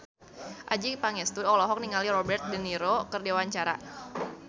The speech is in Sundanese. Adjie Pangestu olohok ningali Robert de Niro keur diwawancara